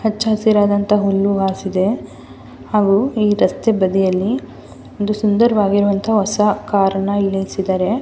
ಹಚ್ಚ ಹಸಿರಾದಂಥ ಹುಲ್ಲು ಹಾಸಿದೆ ಹಾಗು ಈ ರಸ್ತೆ ಬದಿಯಲ್ಲಿ ಒಂದು ಸುಂದರವಾದಂಥ ಹೊಸ ಕಾರನ್ನ ಇಲ್ಲಿ ನಿಲ್ಲಿಸಿದ್ದಾರೆ.